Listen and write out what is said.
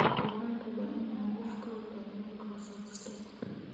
Waxaan rabaa in aan wax ka ogaado Microsoft stock